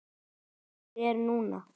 Lífið er núna!